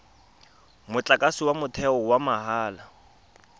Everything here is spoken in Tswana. motlakase wa motheo wa mahala